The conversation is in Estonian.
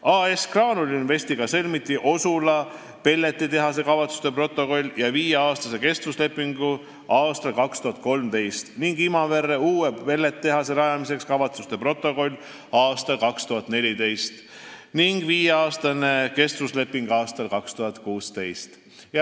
AS-iga Graanul Invest sõlmiti Osula pelletitehase rajamiseks kavatsuste protokoll ja viieaastane kestvusleping aastal 2013 ning Imavere uue pelletitehase rajamiseks kavatsuste protokoll aastal 2014 ja viieaastane kestvusleping aastal 2016.